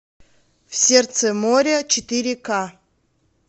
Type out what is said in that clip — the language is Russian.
в сердце море четыре ка